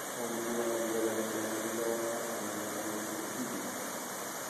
Od bura ogwelo jatend migao mar arita migosi okidi